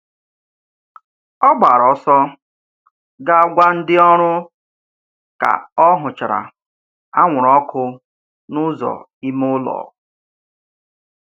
Ọ gbara ọsọ ga gwa ndị ọrụ ka ọ hụchara anwụrụ ọkụ n'ụzọ ime ụlọ.